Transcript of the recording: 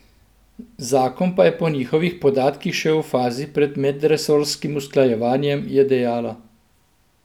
Zakon pa je po njihovih podatkih še v fazi pred medresorskim usklajevanjem, je dejala.